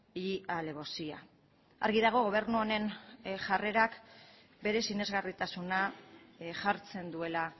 y alevosía argi dago gobernu honen jarrerak bere sinesgarritasuna jartzen duela